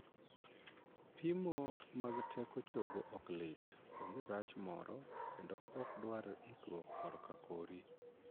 Pimo mag teko chogo ok lit, onge rach moro, kendo ok dwar ikruok korka kori.